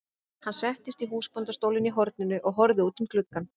Hann settist í húsbóndastólinn í horninu og horfði út um gluggann.